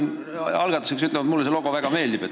Ma pean algatuseks ütlema, et mulle see logo väga meeldib.